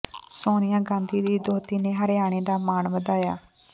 ਸੋਨੀਆ ਗਾਂਧੀ ਦੀ ਦੋਹਤੀ ਨੇ ਹਰਿਆਣਾ ਦਾ ਮਾਣ ਵਧਾਇਆ